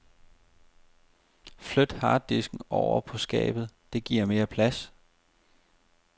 Flyt harddisken ovre på skabet, det giver mere plads.